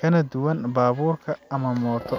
kana duwan baabuur ama mooto.